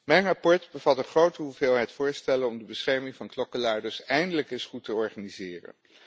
Mijn verslag bevat een grote hoeveelheid voorstellen om de bescherming van klokkenluiders eindelijk eens goed te organiseren.